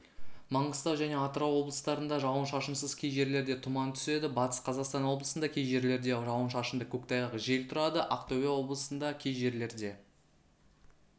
маңғыстау және атырау облыстарында жауын-шашынсыз кей жерлерде тұман түседі батыс қазақстаноблысында кей жерлерде жауын-шашынды көктайғақ жел тұрады ақтөбе облысында кей жерлерде